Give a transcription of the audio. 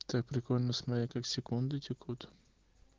так прикольно смотреть как секунды текут